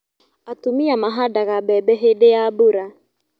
Atumia mahandaga mbembe hĩndĩ ya mbura